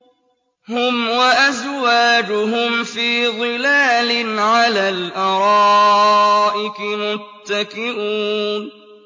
هُمْ وَأَزْوَاجُهُمْ فِي ظِلَالٍ عَلَى الْأَرَائِكِ مُتَّكِئُونَ